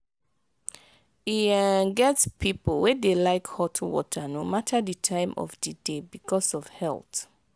e um get pipo wey dey like hot water no matter di time of di day because of health